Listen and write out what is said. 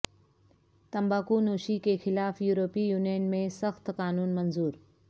تمباکو نوشی کے خلاف یورپی یونین میں سخت قانون منظور